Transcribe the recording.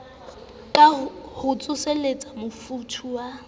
ho ka tsoselletsa mofuthu wa